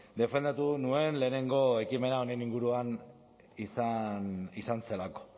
defendatu nuen lehenengo ekimena honen inguruan izan zelako